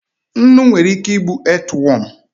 Nnu nwere ike igbu earthworm.